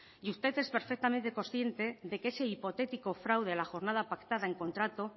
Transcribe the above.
y usted es perfectamente consciente de que ese hipotético fraude a la jornada pactada en contrato